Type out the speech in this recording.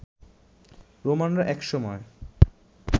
রোমানরা এক সময়